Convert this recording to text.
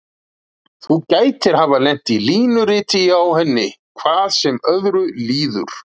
Þú gætir hafa lent í línuriti hjá henni, hvað sem öðru líður.